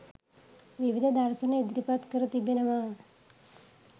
විවිධ දර්ශන ඉදිරිපත් කර තිබෙනවා.